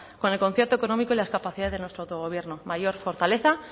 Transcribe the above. con el concierto económico y la capacidad de nuestro autogobierno mayor fortaleza